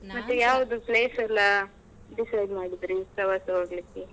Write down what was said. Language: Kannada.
ಯಾವ್ದು place ಎಲ್ಲಾ decide ಮಾಡಿದ್ರಿ ಪ್ರವಾಸ ಹೋಗ್ಲಿಕೆ.